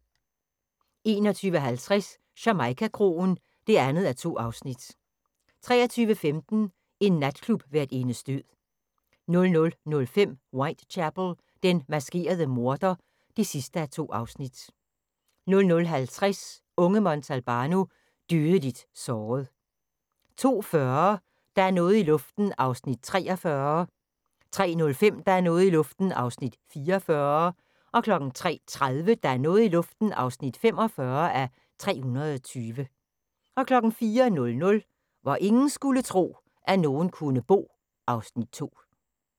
21:50: Jamaica-kroen (2:2) 23:15: En natklubværtindes død 00:05: Whitechapel: Den maskerede morder (2:2) 00:50: Unge Montalbano: Dødeligt såret 02:40: Der er noget i luften (43:320) 03:05: Der er noget i luften (44:320) 03:30: Der er noget i luften (45:320) 04:00: Hvor ingen skulle tro, at nogen kunne bo (Afs. 2)